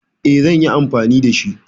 E, zan yi anfani da shi.